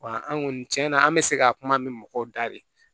Wa an kɔni cɛn na an bɛ se ka kuma mɛn mɔgɔw da de